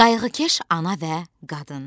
Qayğıkeş ana və qadın.